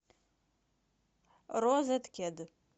розеткед